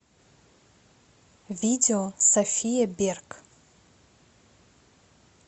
видео софия берг